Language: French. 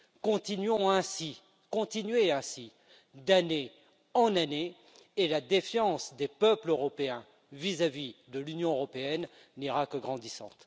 Continuons ainsi, continuez ainsi, d'année en année et la défiance des peuples européens vis à vis de l'Union européenne n'ira qu'en grandissant.